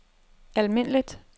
almindeligt